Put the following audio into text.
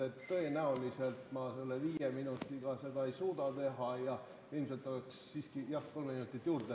Tõenäoliselt ma viie minutiga seda ei suuda teha ja ilmselt oleks siiski vaja jah kolm minutit juurde.